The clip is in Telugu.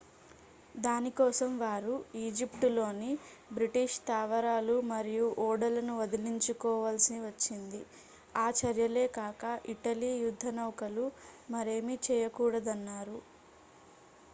దాని కోసం వారు ఈజిప్టులోని బ్రిటిష్ స్థావరాలు మరియు ఓడలను వదిలించుకోవలసి వచ్చింది ఆ చర్యలే కాక ఇటలీ యుద్ధనౌకలు మరేమీ చేయకూడదన్నారు